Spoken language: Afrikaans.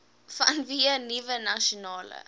vanweë nuwe nasionale